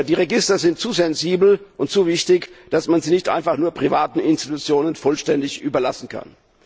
Die Register sind zu sensibel und zu wichtig, als dass man sie einfach nur privaten Institutionen vollständig überlassen kann.